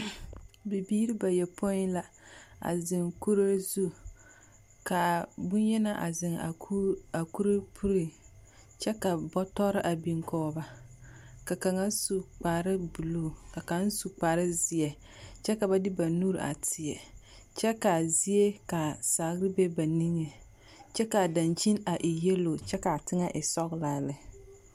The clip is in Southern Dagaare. Bibiiri bayopoi la a zeŋ kuree zu, kaa boŋyenaa a zeŋ a kuru a kure puliŋ kyԑ ka bͻtͻre a biŋ kͻge ba. ka kaŋa su kpare buluu ka kaŋa su kpare zeԑ kyԑ ka ba de ba nuuri a teԑ. Kyԑ kaa zie ka sagere be ba niŋe. Kyԑ kaa daŋkyini a e yԑlo kyԑ kaa teŋԑ e sͻgelaa lԑ.